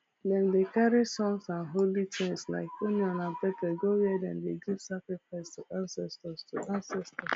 dem dey carry songs and holy things like onion and pepper go where dem dey give sacrifice to ancestors to ancestors